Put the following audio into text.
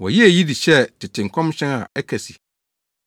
Wɔyɛɛ eyi de hyɛɛ tete nkɔmhyɛ a ɛka se,